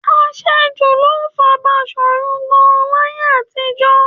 Àṣejù ló pa Baṣòrun Gáà láyé àtijọ́.